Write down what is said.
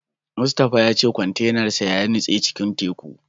Mustapha ya ce kwantenan sa ya nutse cikin teku.